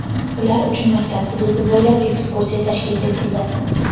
ular uchun maktab hududi bo‘ylab ekskursiya tashkil etildi.